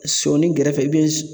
Sɔni gɛrɛfɛ